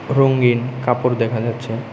রঙ্গিন কাপড় দেখা যাচ্ছে।